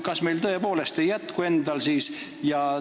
Kas meil tõepoolest ei jätku siis endal inimesi?